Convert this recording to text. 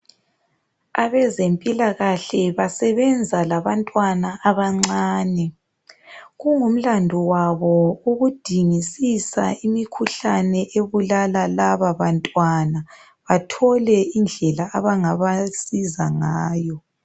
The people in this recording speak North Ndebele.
Abezempilakahle basebenza labantwana abancane kungimlando wabo ukudingisisa imikhuhlane ebulala laba bantwana bathole indlela abangabasiza ngayo.